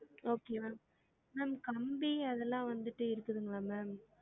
Okay ma'am ma'am கம்பி அதெல்லாம் வந்திட்டு இருக்குதுங்களா ma'am?